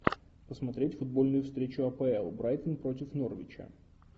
посмотреть футбольную встречу апл брайтон против норвича